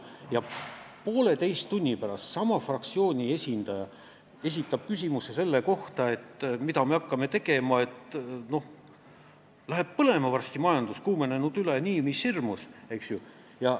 Pooleteise tunni pärast esitas sama fraktsiooni esindaja küsimuse, et mida me tegema hakkame – majandus läheb varsti põlema, see on ülekuumenenud nii mis hirmus.